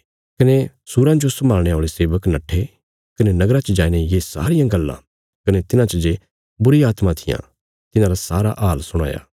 कने सूराँ जो सम्भाल़णे औल़े सेवक नट्ठे कने नगरा च जाईने ये सारियां गल्लां कने तिन्हांच जे बुरीआत्मां थिआं तिन्हांरा सारा हाल सुणाया